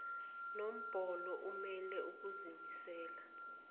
nombolo imele ukuzimisela